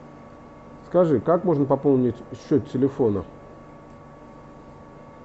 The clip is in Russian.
скажи как можно пополнить счет телефона